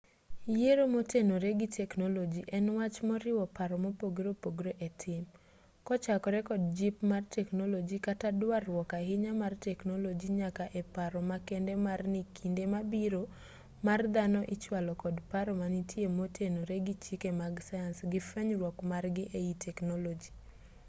yiero motenore gi teknoloji en wach moriwo paro mopogore opogore e tim kochakore kod jip mar teknoloji kata duarruok ahinya mar teknoloji nyaka e paro makende mar ni kinde mabiro mar dhano ichwalo kod paro manitie motenore gi chike mag sayans gi fwenyruok margi ei teknoloji